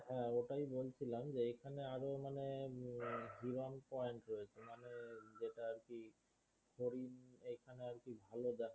হ্যাঁ ওটাই বলছিলাম যে এখানে আরো মানে বিমান point রয়েছে মানে যেটা আর কি ঘড়ির এই খানে আর কি ভালো দেখা